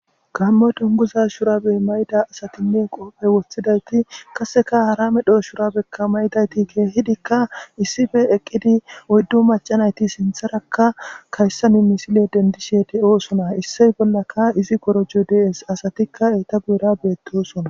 Kammo dunguza shurabey mayda asatinne qoophe woththidayti kaseka haramedho shurabekka maydayti geehidikka issife eqqidi oyddu macanayti sintharakka kayssanu misile dendishe de7oosona issey bollaka izi gorojo dees asatikka eta guura beettosona